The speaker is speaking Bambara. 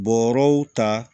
Bɔrɔw ta